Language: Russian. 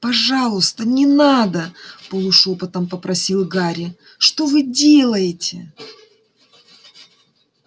пожалуйста не надо полушёпотом попросил гарри что вы делаете